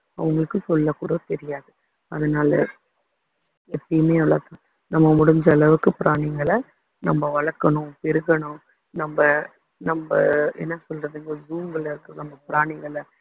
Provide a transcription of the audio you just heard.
அவங்களுக்கு சொல்ல கூட தெரியாது அதனால எப்பயுமே நம்ம முடிஞ்ச அளவுக்கு பிராணிங்களை நம்ம வளர்க்கணும் பெருகணும் நம்ம நம்ம என்ன சொல்றது ஒரு room ல இருக்க நம்ம பிராணிங்களை